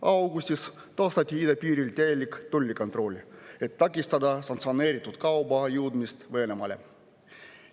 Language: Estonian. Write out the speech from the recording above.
Augustis taastati idapiiril täielik tollikontroll, et takistada sanktsioneeritud kauba jõudmist Venemaale.